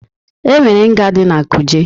Enwere nga na Kuje.